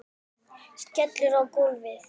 Skellur á gólfið.